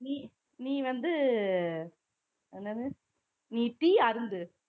நீ நீ வந்து என்னது நீ tea அருந்து